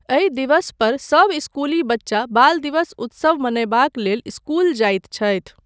एहि दिवस पर सब इस्कुली बच्चा बाल दिवस उत्सव मनयबाक लेल इस्कुल जाइत छथि।